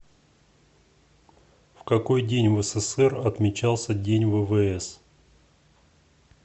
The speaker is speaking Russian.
в какой день в ссср отмечался день ввс